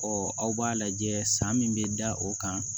Ɔ aw b'a lajɛ san min bɛ da o kan